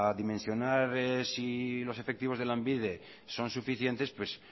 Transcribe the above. dimensionar si los efectivos de lanbide son suficientes pues